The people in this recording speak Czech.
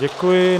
Děkuji.